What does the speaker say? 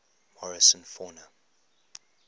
morrison fauna